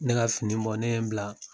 Ne ka fini bɔ, ne ye n bila